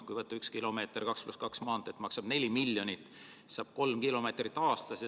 Kui üks kilomeeter 2 + 2 maanteed maksab 4 miljonit, siis saab kolm kilomeetrit aastas.